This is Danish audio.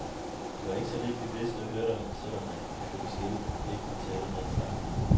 Det var ikke så lidt, vi vidste og hørte om, selv om man, ifølge skiltene, ikke måtte tale om den slags.